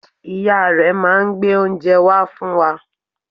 Ìyá rẹ̀ máa n gbé oúnje wá fún wa